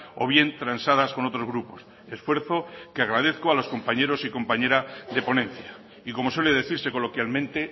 o bien transadas con otros grupos esfuerzo que agradezco a los compañeros y compañera de ponencia y como suele decirse coloquialmente